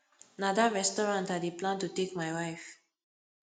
na dat restaurant i dey plan to take my wife